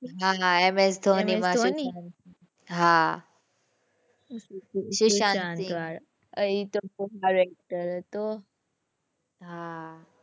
હાં ms dhoni ms dhoni હાં સુશાંત સિંહ એ તો કમાલ actor હતો.